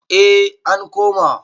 eh an koma